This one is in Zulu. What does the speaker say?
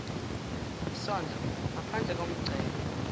isondlo ngaphadle komngcele